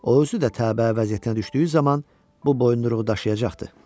o özü də təbəə vəziyyətinə düşdüyü zaman bu boyunduruğu daşıyacaqdı.